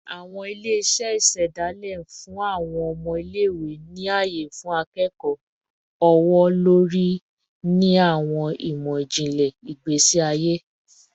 Awọn ile-iṣẹ isedale n fun awọn ọmọ ile-iwe ni aye fun ikẹkọ ọwọ-lori ni awọn imọ-jinlẹ igbesi aye